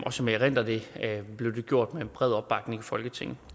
og som jeg erindrer det blev det gjort med bred opbakning i folketinget